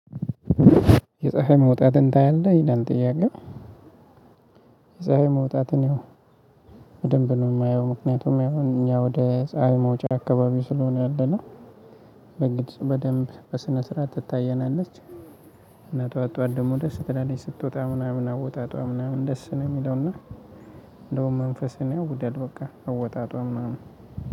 የፀሀይ መውጣትን ታያለህ? ይላል ጥያቄው። የፀሀይ መውጣት ነው በደንብ ነው የማየው። ምክንያቱም ያው እኛ ወደ ፀሀይ መውጫ አካባቢ ስለሆነ ያለነው በግልጽ በደንብ በስነ ስርዓት ትታየናለች። እና ጠዋትጠዋት ደግሞ ደስ ትላለች። ስትወጣ ምናምን አወጣጧ ምናምን ደስ ነው የሚለውና እንደውም መንፈስን ያውቁዳል በቃ አወጣጧ ምናምን።